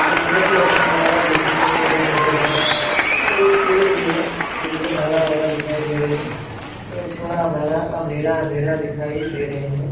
ये बेहद ही अच्छा नजारा देखने को मिल रहा है फोटो के और एक पेड़ भी है जो बहुत हरा भरा दिखाई दे रहे हैं और थोड़ा धारा अंधेरा अंधेरा दिखाई दे रहे हैं।